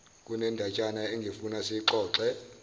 kunendatshana engifuna siyixoxe